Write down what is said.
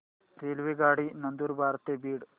रेल्वेगाडी नंदुरबार ते बीड